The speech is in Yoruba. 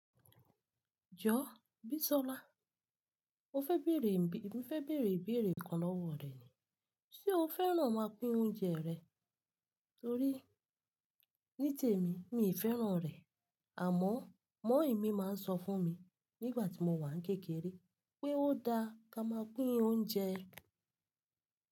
Jọ, Bisola. Mo fẹ bẹ̀rẹ̀, mo fẹ́ bẹ̀rẹ̀ ìbéèrè kan lọ́wọ́ rẹ ni. Ṣé o fẹ́ràn máa pín oúnjẹ rẹ? Torí ní tèmi mi fẹ́ràn rẹ̀, àmọ́ mọ̀-ín mi máa ń sọ fún mi nígbà tí mo wà kékeré pé ó da ká máa pín oúnjẹ.